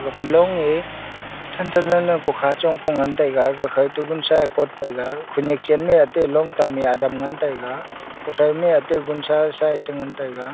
afa long e than than lan ko kha chong ko ngan tai ga khanyak chen e ate long tam adam che ngan taiga --